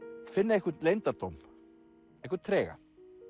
finna einhvern leyndardóm einhvern trega